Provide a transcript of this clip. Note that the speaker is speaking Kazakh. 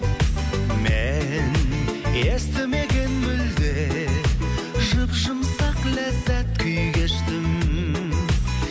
мен естімеген мүлде жұп жұмсақ ләззат күй кештім